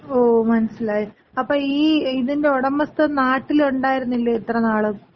ഓ മനസിലായി. അപ്പൊ ഈ ഇതിന്‍റെ ഒടമസ്ഥൻ നാട്ടിലൊണ്ടാരുന്നില്ലേ ഇത്ര നാളും?